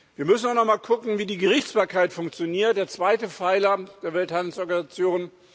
Wir müssen auch noch mal gucken, wie die Gerichtsbarkeit funktioniert, der zweite Pfeiler der Welthandelsorganisation.